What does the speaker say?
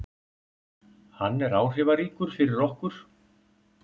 Hann er áhrifaríkur fyrir okkur.